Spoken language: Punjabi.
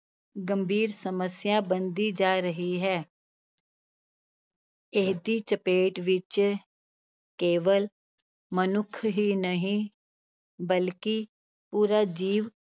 ਗੰਭੀਰ ਸਮੱਸਿਆ ਬਣਦੀ ਜਾ ਰਹੀ ਹੈ ਇਹਦੀ ਚਪੇਟ ਵਿੱਚ ਕੇਵਲ ਮਨੁੱਖ ਹੀ ਨਹੀਂ ਬਲਕਿ ਪੂਰਾ ਜੀਵ